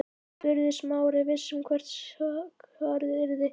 spurði Smári, viss um hvert svarið yrði.